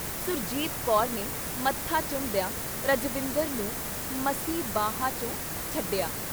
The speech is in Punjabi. ਸੁਰਜੀਤ ਕੌਰ ਨੇ ਮੱਥਾ ਚੁੰਮਦਿਆਂ ਰਜਵਿੰਦਰ ਨੂੰ ਮਸੀਂ ਬਾਹਵਾਂ ਚੋਂ ਛੱਡਿਆ।